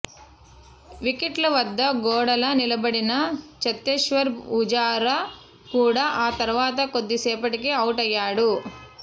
వికెట్ల వద్ద గోడలా నిలబడిన ఛతేశ్వర్ వుజారా కూడా ఆ తర్వాత కొద్దిసేపటికే అవుటయ్యాడు